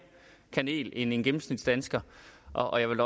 kanel end en gennemsnitsdansker og jeg vil